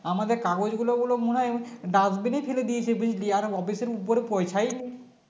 আমাদের কাগজগুলো ওগুলো মনে হয় Dustbin এ ফেলে দিয়েছে বুঝলি আর office এর উপরে পয়সাই নেই